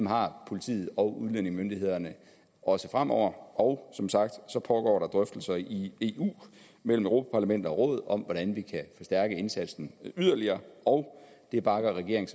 har politiet og udlændingemyndighederne også fremover og som sagt pågår der drøftelser i eu mellem europa parlamentet og rådet om hvordan vi kan forstærke indsatsen yderligere og det bakker regeringen